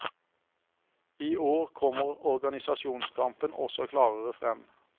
I år kommer organisasjonskampen også klarere frem.